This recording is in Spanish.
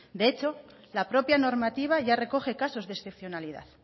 de hecho la propia normativa ya recoge casos de excepcionalidad